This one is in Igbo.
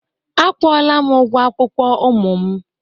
A kwụ-ola m ụgwo akwụkwo ụmu m